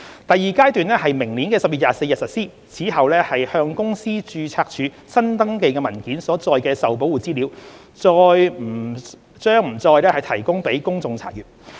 第二階段於明年10月24日實施，此後向公司註冊處新登記的文件中所載的受保護資料，將不再提供予公眾查閱。